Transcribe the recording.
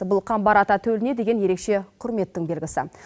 бұл қамбар ата төліне деген ерекше құрметтің белгісі